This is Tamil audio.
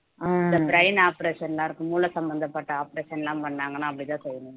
இந்த brain operation எல்லாருக்கும் மூளை சம்பந்தப்பட்ட operation லாம் பண்ணாங்கன்னா அப்படிதான் சொல்லணும்